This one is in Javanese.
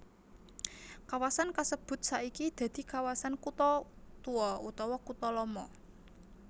Kawasan kasebut saiki dadi kawasan kutha tuwa utawa kutha lama